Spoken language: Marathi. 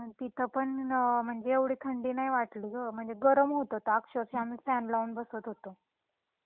मग तिथ पण म्हणजे अ एव्हडी थंडी नाही वाटली गं म्हणजे गरम होत होतं अक्षरक्ष: आम्ही फॅन लाऊन बसत होतो.